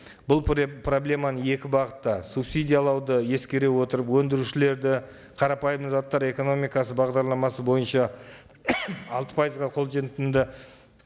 бұл проблеманы екі бағытта субсидиялауды ескере отырып өндірушілерді қарапайым заттар экономикасы бағдарламасы бойынша алты пайызға қолжетімді